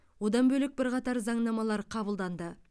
одан бөлек бірқатар заңнамалар қабылданды